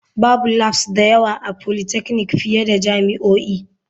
Babu labs da yawa a polytechnic fiye da jami'o'i.